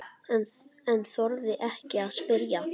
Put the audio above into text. En þorði ekki að spyrja.